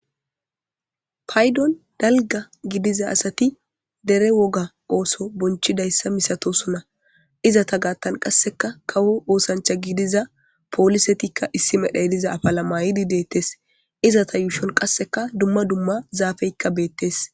Paydon dalga gidiza asati dere woga ooso bonchidayssa misato suna izata gaattan qasseka kawo oosancha gidiza poolisetikka issi medhaydiza afalamayidi deettes izata yuushon qasseka dumma dumma zaafeykka beettes.